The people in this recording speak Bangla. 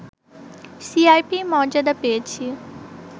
সিআইপির মর্যাদা পেয়েছি